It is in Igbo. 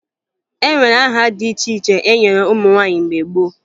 E nwere aha dị iche iche e nyere ụmụ nwaanyị mgbe gboo